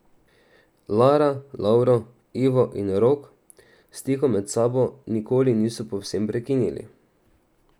Lara, Lovro, Ivo in Rok stikov med sabo nikoli niso povsem prekinili.